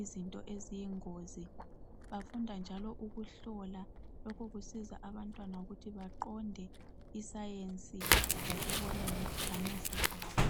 izinto eziyingozi bafunda njalo ukuhlola lokhu kusiza abantwana ukuthi baqonde isayensi ngokubona ngamehlo abo